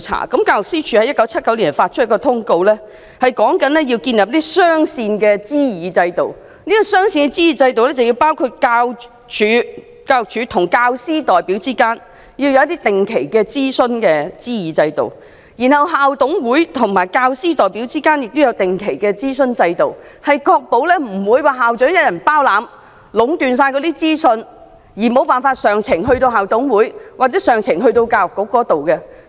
教育司署在1979發出一則通告，指出要建立雙線的諮議制度，包括教育署與教師代表之間的定期諮議制度，以及校董會與教師代表之間也有定期的諮議制度，確保不會由校長一人掌管及壟斷所有資訊，以致意見無法上呈至校董會或教育局。